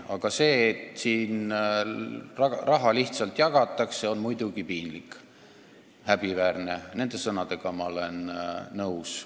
Aga see, et siin raha lihtsalt jagatakse, on muidugi piinlik, häbiväärne – nende sõnadega ma olen nõus.